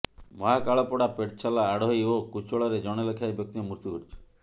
ମହାକାଳପଡ଼ା ପେଟଛେଲା ଆଡୋହି ଓ କୁଚିଳାରେ ଜଣେ ଲେଖାଏଁ ବ୍ୟକ୍ତିଙ୍କ ମୃତ୍ୟୁ ଘଟିଛି